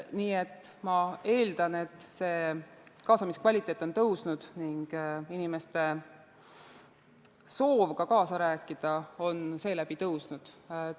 Nii et ma eeldan, et kaasamiskvaliteet on paranenud ning ka inimeste soov kaasa rääkida on seeläbi suurenenud.